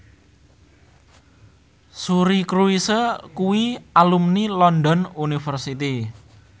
Suri Cruise kuwi alumni London University